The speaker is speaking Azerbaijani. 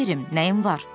Ona nə verim, nəyim var?